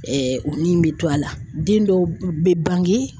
o nin bɛ to a la den dɔw bɛ bange.